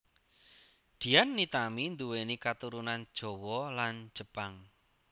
Dian Nitami nduwéni katurunan Jawa lan Jepang